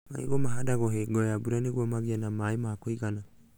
Marigũ mahandagwo hingo ya mbura nĩguo magĩe maĩ ma kũigana